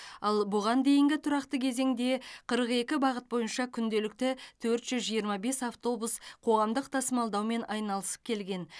ал бұған дейінгі тұрақты кезеңде қырық екі бағыт бойынша күнделікті төрт жүз жиырма бес автобус қоғамдық тасымалдаумен айналысып келген